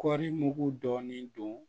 Kɔri mugu dɔɔnin don